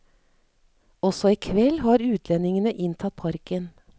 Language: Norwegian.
Også i kveld har utlendingene inntatt parken.